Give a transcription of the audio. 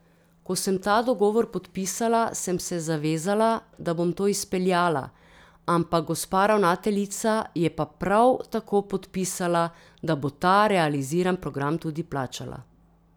Ko sem ta dogovor podpisala, sem se zavezala, da bom to izpeljala, ampak gospa ravnateljica je pa prav tako podpisala, da bo ta realiziran program tudi plačala.